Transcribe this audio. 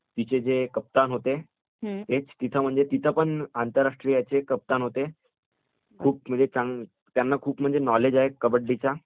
तिथं जे कॅप्टन होते म्हणजे तिथं पण आंतरराष्ट्रीय कॅप्टन होते, त्यांना खूप म्हणजे नॉलेज आहे कबड्डीचं